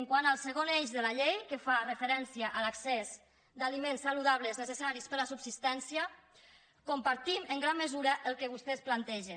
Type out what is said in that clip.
quant al segon eix de la llei que fa referència a l’accés d’aliments saludables necessaris per a la subsistència compartim en gran mesura el que vostès plantegen